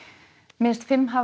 minnst fimm hafa